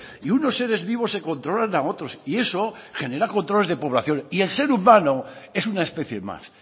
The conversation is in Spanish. y unos seres vivos se controlan a otros y eso genera controles de población y el ser humano es una especie más